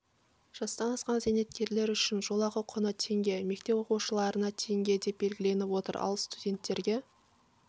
жастан асқан зейнеткерлер үшін жолақы құны теңге мектеп оқушыларына теңге деп белгіленіп отыр ал студенттерге